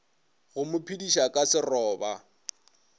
go mo phediša ka seroba